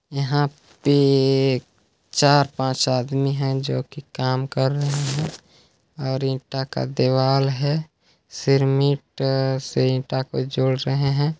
यहाँ पे चार पाँच आदमी है जोकि काम कर रहे है और ईटा का दीवाल है सिरमिट से ईटा को जोड़ रहे हैं।